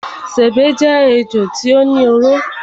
Sèbé jé ejò tí ó ní oró.